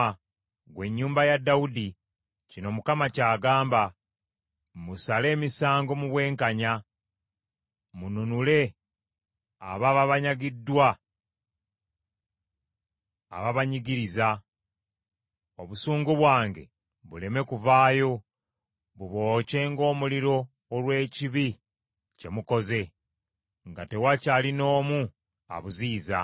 ggwe ennyumba ya Dawudi, “ ‘kino Mukama ky’agamba: Musale emisango mu bwenkanya, mununule ababa banyagiddwa ababanyigiriza, obusungu bwange buleme kuvaayo bubookye ng’omuliro olw’ekibi kye mukoze, nga tewakyali n’omu abuziyiza.